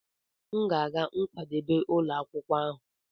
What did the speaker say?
M ga-aga nkwadebe ụlọ akwụkwọ.